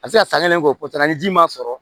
A bɛ se ka san kelen kɔsan ni ji ma sɔrɔ